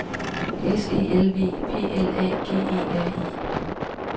S E L V P L A G E R I